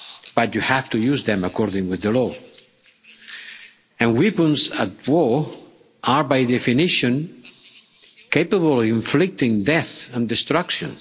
But you have to use them according to the law, and weapons of war are, by definition, capable of inflicting death and destruction.